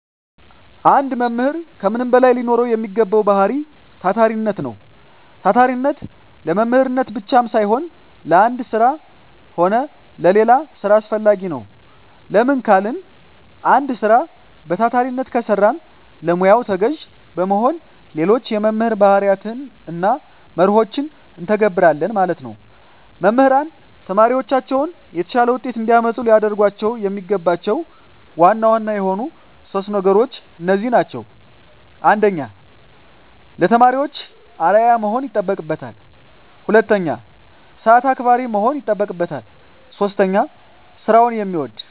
አንድ መምህር ከምንም በላይ ሊኖረዉ የሚገባዉ ባህሪይ ታታሪነት ነዉ። ታታሪነት ለመምህርነት ብቻም ሳይሆን ለአንድ ስራ ሆነ ለሌላ ስራ አስፈላጊ ነዉ። ለምን ካልን አንድ ስራ በታታሪነት ከሰራን ለሙያዉ ተገዢ በመሆን ሌሎች የመምህር ባህርያትንና መርሆችን እንተገብረለን ማለት ነዉ። መምህራን ተማሪዎቻቸውን የተሻለ ዉጤት እንዲያመጡ ሊያደርጓቸዉ የሚገባቸዉ ዋና ዋና የሆኑት 3 ነገሮች እነዚህ ናቸዉ። 1. ለተማሪዎች አርዕያ መሆን ይጠበቅበታል። 2. ሰአት አክባሪ መሆን ይጠበቅበታል። 3. ስራዉን የሚወድ።